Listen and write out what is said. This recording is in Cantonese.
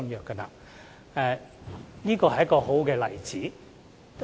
這是一個很好的例子。